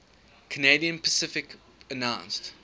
canadian pacific announced